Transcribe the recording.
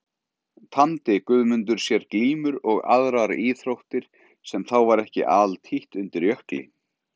Tamdi Guðmundur sér glímur og aðrar íþróttir sem þá var ekki altítt undir Jökli.